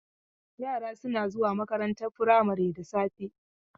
Yara suna zuwa makarantar firamari da safe.